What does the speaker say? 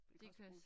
Det kan også bruges